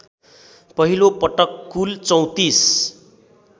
पहिलोपटक कुल ३४